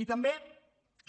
i també